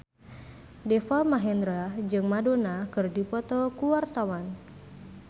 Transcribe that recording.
Deva Mahendra jeung Madonna keur dipoto ku wartawan